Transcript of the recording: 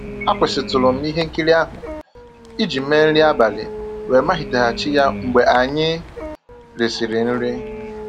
Akwụsịtụrụ m ihe nkiri ahụ iji mee nri abalị wee maliteghachi ya mgbe anyị risịrị nri.